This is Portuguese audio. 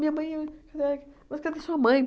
Minha mãe é... Mas cadê sua mãe?